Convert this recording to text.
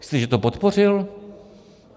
Myslíte, že to podpořil?